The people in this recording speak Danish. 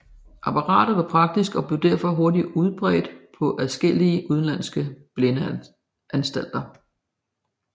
Apparatet var praktisk og blev derfor hurtigt udbredt på adskillige udenlandske blindeanstalter